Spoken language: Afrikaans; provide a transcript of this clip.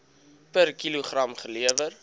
per kilogram gelewer